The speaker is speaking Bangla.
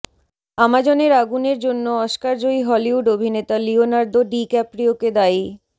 আমাজনের আগুনের জন্য অস্কারজয়ী হলিউড অভিনেতা লিওনার্দো ডিক্যাপ্রিওকে দায়ী